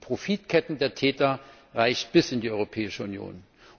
Die Profitkette der Täter reicht bis in die Europäische Union.